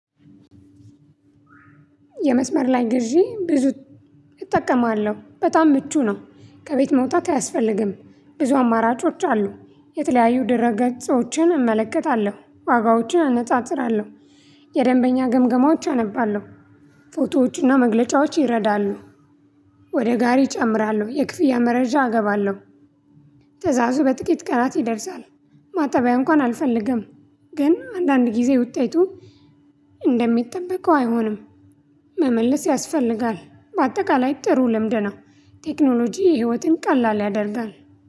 የመስመር ላይ ግዢ ብዙ እጠቀማለሁ በጣም ምቹ ነው። ከቤት መውጣት አያስፈልግም ብዙ አማራጮች አሉ። የተለያዩ ደረ ገጦዎችን እመለከታለሁ ዋጋዎችን አነጣጥራለሁ። የደንበኛ ግምገማዎች አነባለሁ። ፎቶዎችና መግለጫዎች ይረዳሉ። ወደ ጋሪ እጨምራለሁ የክፍያ መረጃ እገባለሁ። ትእዛዙ በጥቂት ቀናት ይደርሳል። ማጣቢያ እንኳን አልፈልግም። ግን አንዳንድ ጊዜ ውጤቱ እንደሚጠበቀው አይሆንም። መመለስ ያስፈልጋል። በአጠቃላይ ጥሩ ልምደው። ቴክኖሎጂ ህይወትን ቀላል ያደርጋል